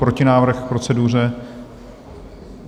Protinávrh k proceduře?